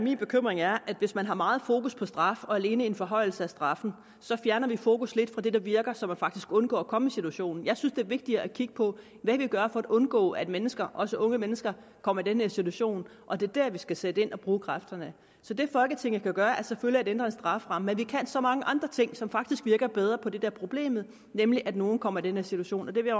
min bekymring er at hvis man har meget fokus på straf og alene en forhøjelse af straffen så fjerner man fokus lidt fra det der virker så folk faktisk undgår at komme situation jeg synes det er vigtigere at kigge på hvad vi kan gøre for at undgå at mennesker også unge mennesker kommer i den situation og det er der vi skal sætte ind og bruge kræfterne så det folketinget kan gøre er selvfølgelig at ændre strafferammen men vi kan så mange andre ting som faktisk virker bedre på det er problemet nemlig at nogle kommer i den her situation og det vil